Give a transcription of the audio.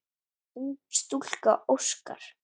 Ung stúlka óskar.